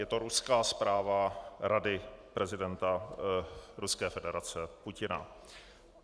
Je to ruská zpráva Rady prezidenta Ruské federace Putina.